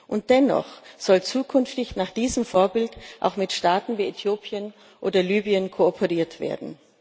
Und dennoch soll zukünftig nach diesem Vorbild auch mit Staaten wie Äthiopien oder Libyen kooperiert werden.